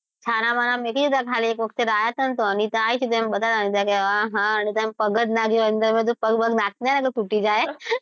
છાનાં -માંના મૂકી દીધાં ખાલી એક વખતે લાયા તો અનિતા આયી હતી તો આ હા તો એનો પગ જ નાં ગયો અંદર મેં કીધું પગ બગ નાખતી નાં નહી તો તૂટી જાય